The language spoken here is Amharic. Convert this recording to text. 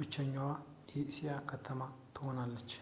ብችሀኛዋ የኤስያ ከተማ ትሆናለች